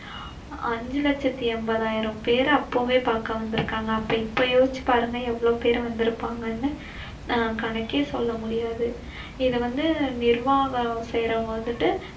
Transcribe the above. அஞ்சு லசத்தி எம்பதாயிரம் பேர் அப்பவே பாக்க வந்திருக்காங்க. அப்ப இப்போ யோசிச்சு பாருங்க எவ்வளவு பேர் வந்திருப்பாங்கனு? அஹ் கணக்கே சொல்லமுடியாது இத வந்திட்டு நிர்வாங்கம் செய்யறவங்க வந்திட்டு